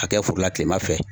Ka kɛ foro la tilema fɛ